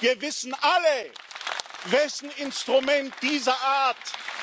Wir wissen alle, wessen Instrument diese Art